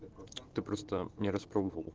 ты просто не распробовал